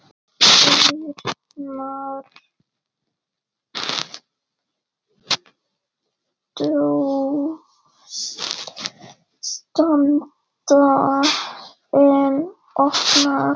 Dyrnar standa enn opnar.